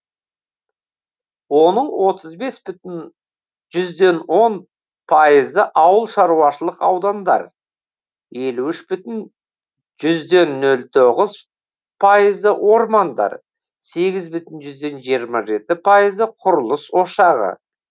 оның отыз бес бүтін жүзден он пайызы ауылшаруашылық аудандар елу үш бүтін жүзден нөл тоғыз пайызы ормандар сегіз бүтін жүзден жиырма жеті пайызы құрылыс ошағы